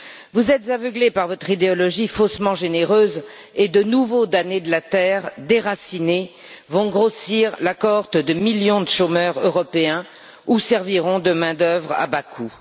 Vous êtes aveuglés par votre idéologie faussement généreuse et de nouveaux damnés de la terre, déracinés, vont venir grossir la cohorte de millions de chômeurs européens ou serviront de main d'œuvre à bas coût.